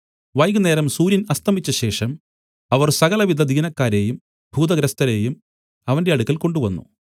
വൈകുന്നേരം സൂര്യൻ അസ്തമിച്ചശേഷം അവർ സകലവിധ ദീനക്കാരെയും ഭൂതഗ്രസ്തരെയും അവന്റെ അടുക്കൽ കൊണ്ടുവന്നു